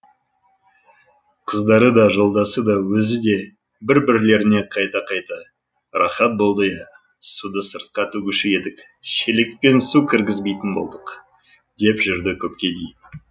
қыздары да жолдасы да өзі де бір бірлеріне қайта қайта рахат болды иә суды сыртқа төгуші едік шелекпен су кіргізбейтін болдық деп жүрді көпке дейін